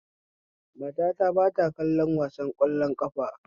Matata ba ta kallon wasan ƙwallon ƙafa